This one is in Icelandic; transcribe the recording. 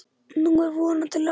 Nú er vonandi lag.